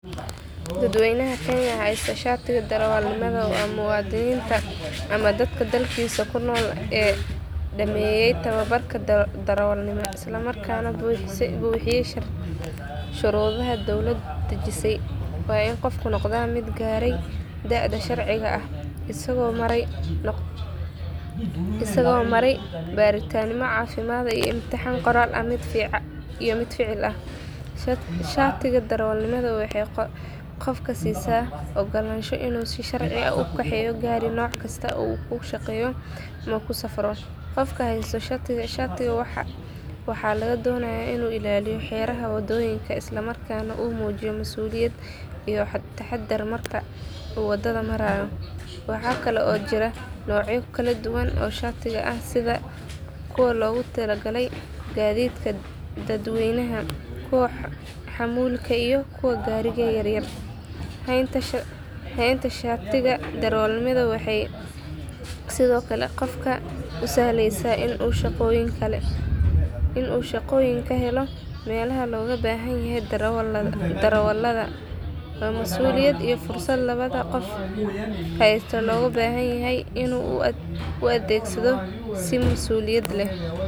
Dadweyna kenya hasto shatiga darawal nimaada muadininta ama dadka dalkisa kunol dameye tawabarka darawal nimaada isla markasa nah buxiye shurudaha sowlaad dajise waa in qofku noqdaa miid gare daada sharciga ah isago maray baritan cafimaad, qofka hasto shatiga waxaa laga donaya in u ilaliyo wadada, henta shatiga waxee usahlesa in u helo melaha loga bahan yahay si mas uliyaad leh.